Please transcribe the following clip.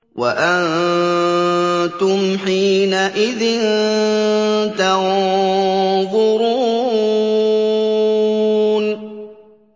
وَأَنتُمْ حِينَئِذٍ تَنظُرُونَ